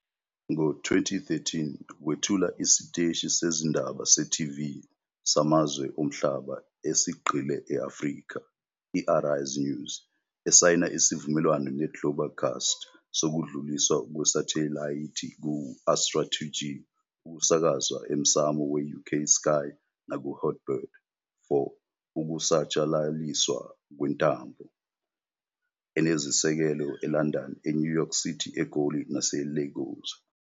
Ngo-2013 wethula isiteshi sezindaba se-TV samazwe omhlaba esigxile e-Afrika, i- Arise News, esayina isivumelwano neGlobecast sokudluliswa kwesathelayithi ku- Astra 2G ukusakazwa emsamo we-UK Sky nakuHot Bird for ukusatshalaliswa kwentambo, enezisekelo eLondon, eNew York City, eGoli naseLagos.